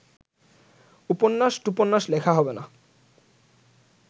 উপন্যাস-টুপন্যাস লেখা হবে না